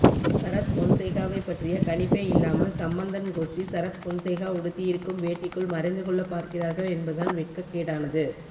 சரத்பொன்சேகாவைப்பற்றிய கணிப்பே இல்லாமல் சம்பந்தன் கோஷ்டி சரத்பொன்சேகா உடுத்தியிருக்கும் வேட்டிக்குள் மறைந்துகொள்ளப் பார்க்கிறார்கள் என்பதுதான் வெக்கக்கேடானது